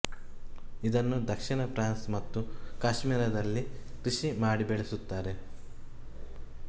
ಇದನ್ನು ದಕ್ಷಿಣ ಫ್ರಾನ್ಸ್ ಮತ್ತು ಕಾಶ್ಮೀರದಲ್ಲಿ ಕೃಷಿ ಮಾಡಿ ಬೆಳೆಸುತ್ತಾರೆ